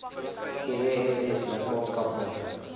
gems lidmaatskap moontlik